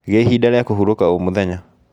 Gĩa ihinda rĩa kũhurũka o mũthenya